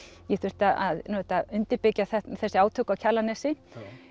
ég þurfti að undirbyggja þessi átök á Kjalarnesi